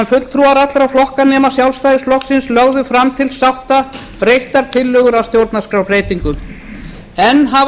fulltrúar allra flokka nema sjálfstæðisflokksins lögðu fram til sátta breyttar tillögur að stjórnarskrárbreytingum enn hafa